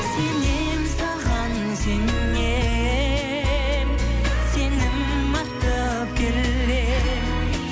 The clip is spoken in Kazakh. сенем саған сенем сенім артып келем